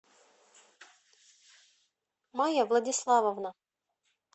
майя владиславовна